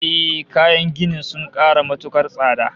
Ehh, kayan gini sun ƙara matuƙar tsada